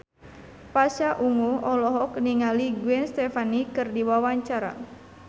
Pasha Ungu olohok ningali Gwen Stefani keur diwawancara